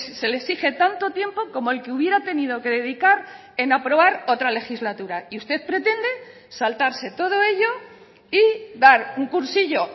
se le exige tanto tiempo como el que hubiera tenido que dedicar en aprobar otra legislatura y usted pretende saltarse todo ello y dar un cursillo